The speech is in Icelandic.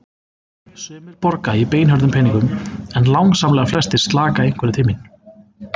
Sumir borga í beinhörðum peningum en langsamlega flestir slaka einhverju til mín.